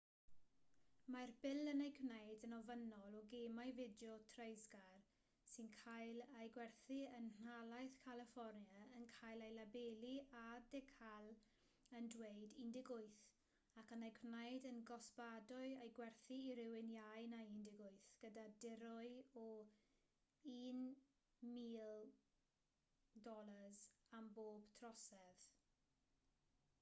mae'r bil yn ei gwneud yn ofynnol o gemau fideo treisgar sy'n cael eu gwerthu yn nhalaith califfornia yn cael eu labelu â decal yn dweud 18 ac yn ei gwneud yn gosbadwy eu gwerthu i rywun iau na 18 gyda dirwy o $1000 am bob trosedd